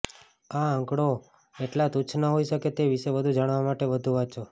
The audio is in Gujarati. આ આંકડો એટલા તુચ્છ ન હોઈ શકે તે વિશે વધુ જાણવા માટે વધુ વાંચો